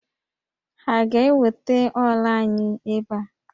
Ha ga-eweta ọ́là anyị ebe a?